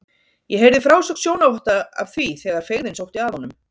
Ég heyrði frásögn sjónarvotta af því þegar feigðin sótti að honum.